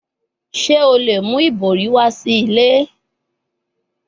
Ṣe o le mu ibori wa si ile?